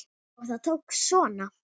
Og það tókst svona!